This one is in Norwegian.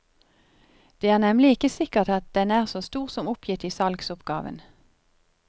Det er nemlig ikke sikkert at den er så stor som oppgitt i salgsoppgaven.